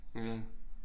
Ja